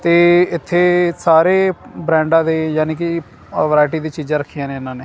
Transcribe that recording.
ਤੇ ਇੱਥੇ ਸਾਰੇ ਬ੍ਰੈਂਡਾ ਦੇ ਯਾਨੀ ਕਿ ਅ ਵਰਾਇਟੀ ਦੀ ਚੀਜ਼ਾਂ ਰੱਖੀਆਂ ਨੇ ਇਹਨਾਂ ਨੇ।